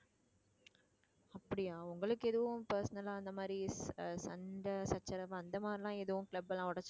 அப்படியா உங்களுக்கு எதுவும் personal ஆ அந்த மாதிரி ஆஹ் சண்டை சச்சரவு அந்த மாதிரியெல்லாம் எதுவும் club எல்லாம் உடைச்சிட்டு